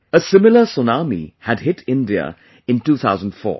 A similar tsunami had hit India in 2004